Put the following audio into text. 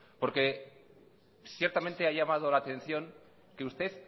porque ciertamente ha llamado la atención que usted